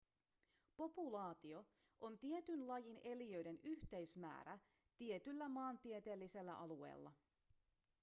populaatio on tietyn lajin eliöiden yhteismäärä tietyllä maantieteellisellä alueella